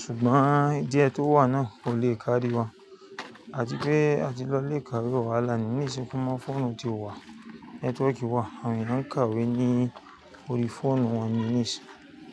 ṣùgbọ́n díè tó wà náà kò le káàdí wa. Àbí pé a ti lọ ilé ìkàwé ọ̀la ní Níìsì. Kúmọ́ fóònù ti wà, nẹ́tíwọ́ọ̀kì wà, àwọn mìíràn ń kàwé ní orí fóònù wọn ní Níìsì.